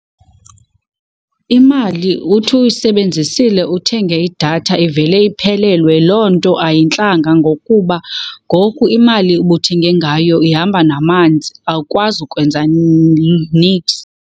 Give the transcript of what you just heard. Imali uthi uyisebenzisile uthenge idatha ivele iphelelwe. Loo nto ayintlanga ngokuba ngoku imali ubuthenge ngayo ihamba namanzi awukwazi ukwenza niks.